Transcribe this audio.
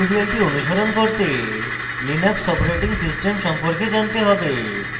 tutorial অনুসরণ করতে linux operating system সম্পর্কে জানতে হবে